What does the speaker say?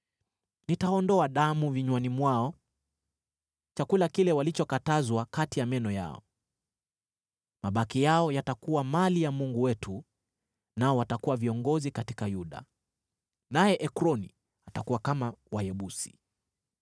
Nitaondoa damu vinywani mwao, chakula kile walichokatazwa kati ya meno yao. Mabaki yao yatakuwa mali ya Mungu wetu, nao watakuwa viongozi katika Yuda, naye Ekroni atakuwa kama Wayebusi.